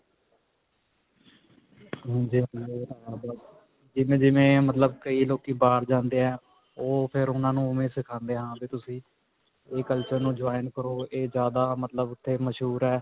ਜਿਵੇਂ-ਜਿਵੇਂ, ਅਅ ਮਤਲਬ ਕਈ ਲੋਕੀ ਬਾਹਰ ਜਾਂਦੇ ਹੈ, ਉਹ ਫਿਰ ਉਨ੍ਹਾਂ ਨੂੰ ਉਵੇ ਸਿਖਾਉਂਦੇ ਹਾਂ ਵੀ ਤੁਸੀਂ ਇਹ culture ਨੂੰ join ਕਰੋ, ਇਹ ਜਿਆਦਾ ਮਤਲਬ ਇਹ ਮਸ਼ਹੂਰ ਹੈ.